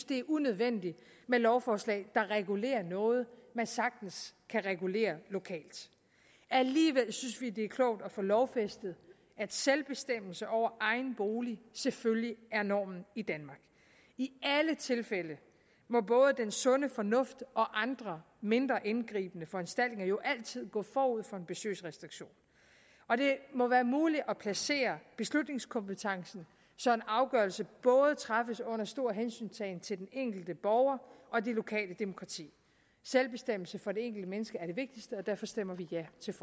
det er unødvendigt med lovforslag der regulerer noget man sagtens kan regulere lokalt alligevel synes vi at det er klogt at få lovfæstet at selvbestemmelse over egen bolig selvfølgelig er normen i danmark i alle tilfælde må både den sunde fornuft og andre mindre indgribende foranstaltninger jo altid gå forud for en besøgsrestriktion og det må være muligt at placere beslutningskompetencen så en afgørelse både træffes under stor hensyntagen til den enkelte borger og det lokale demokrati selvbestemmelse for det enkelte menneske er det vigtigste og derfor stemmer vi ja til